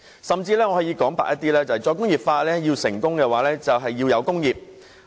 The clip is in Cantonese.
說得直接一點，"再工業化"要成功的話，就要有工業。